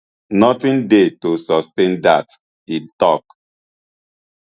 nothing dey to sustain dat e tok